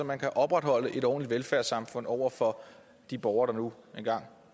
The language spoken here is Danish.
man kan opretholde et ordentligt velfærdssamfund over for de borgere der nu engang